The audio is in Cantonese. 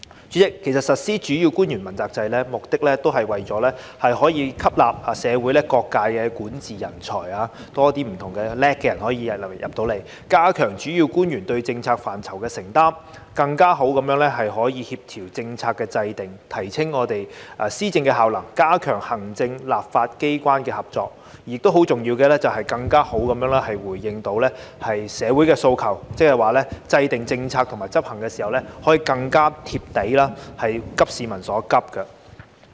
主席，其實實施主要官員問責制，目的是為了可以吸納社會各界的管治人才，更多有才華的人加入政府，加強主要官員對政策範疇的承擔，更好地協調政策的制訂，提升政府施政效能，加強行政與立法機關的合作，而很重要的是，更好地回應社會的訴求，即是說制訂政策及執行時可以更貼地，"急市民所急"。